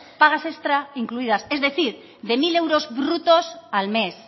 pagas extra incluidas es decir de mil euros brutos al mes